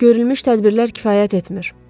Görülmüş tədbirlər kifayət etmir.